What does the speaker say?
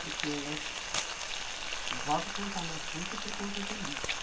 Porque o Robson está na puque por conta do lixo.